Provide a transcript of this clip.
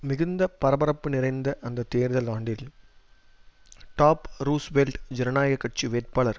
மிகுந்த பரபரப்பு நிறைந்த அந்த தேர்தல் ஆண்டில் டாஃப் ரூஸ்வெல்ட் ஜனநாயக கட்சி வேட்பாளர்